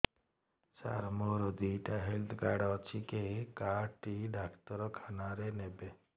ସାର ମୋର ଦିଇଟା health card ଅଛି କେ କାର୍ଡ ଟି ଡାକ୍ତରଖାନା ରେ ନେବେ